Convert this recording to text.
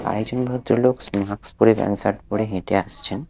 আর একজন ভদ্রলোক মাক্স পরে প্যান্ট শার্ট পরে হেঁটে আসছেন।